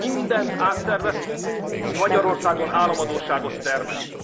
Mindent átszerveztünk, ami Magyarországon államadósságot termelt.